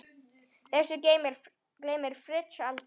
Þessu gleymir Fritz aldrei.